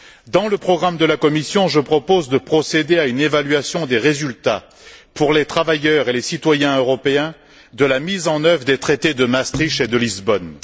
Dans le programme de la Commission, je propose de procéder à une évaluation des résultats, pour les travailleurs et les citoyens européens, de la mise en œuvre des traités de Maastricht et de Lisbonne.